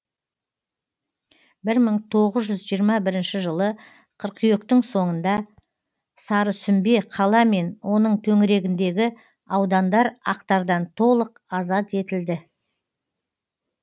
бір мың тоғыз жүз жиырма бірінші жылы қыркүйектің соңында сарысүмбе қала мен оның төңірегіндегі аудандар ақтардан толық азат етілді